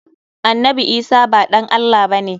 Annabi Isah ba ɗan Allah ba ne.